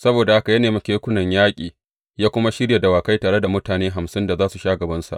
Saboda haka ya nemi kekunan yaƙi, ya kuma shirya dawakai, tare da mutane hamsin da za su sha gabansa.